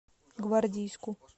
гвардейску